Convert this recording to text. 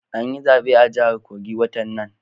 An yi zabe a jahar kogi watan nan